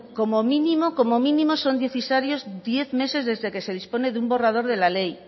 como mínimo como mínimo son necesarios diez meses desde que se dispone de un borrador de la ley